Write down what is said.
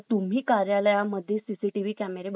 CCTV बसवणं खूप गरजेचं आहे